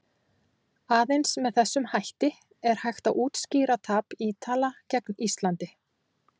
Aðeins með þessum hætti er hægt að útskýra tap Ítala gegn Íslandi.